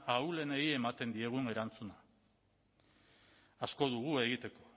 ahulenei ematen diegun erantzuna asko dugu egiteko